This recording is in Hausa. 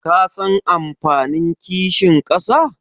Kasan amfanin kishin ƙasa?